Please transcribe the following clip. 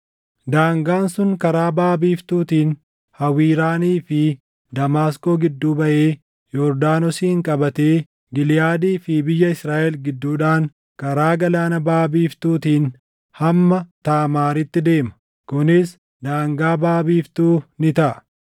Daangaan sun karaa baʼa biiftuutiin Hawiraanii fi Damaasqoo gidduu baʼee Yordaanosin qabatee Giliʼaadii fi biyya Israaʼel gidduudhaan karaa Galaana baʼa biiftuutiin hamma Taamaaritti deema. Kunis daangaa baʼa biiftuu ni taʼa.